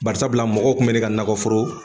Barisabula mɔgɔw kun be ne ka nakɔforo